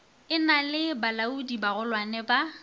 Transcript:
e na le balaodibagolwane ba